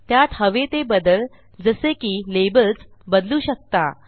त्यात हवे ते बदल जसे की लेबल्स बदलू शकता